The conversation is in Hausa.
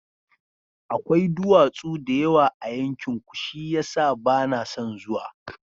Akwai duwatsu da yawa a yankinku, shi ya sa ba na son zuwa.